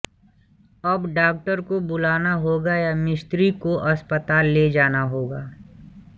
अब डाक्टर को बुलाना होगा या मिस्त्री को अस्पताल ले जाना होगा